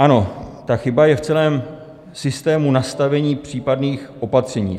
Ano, ta chyba je v celém systému nastavení případných opatření.